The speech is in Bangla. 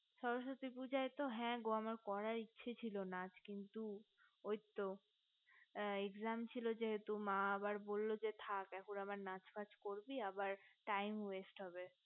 সরস্বতী পূজায় হ্যাগো করার ইচ্ছা নাচ ছিল কিন্ত ওই তো exam ছিল যেহেতো মা আবার বললো যেথাক এখন আবার নাচ টাচ করবি আবার time west হবে